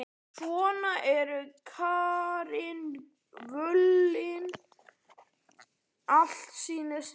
Svona eru karnivölin, allt snýst við.